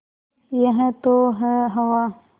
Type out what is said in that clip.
यह तो है हवा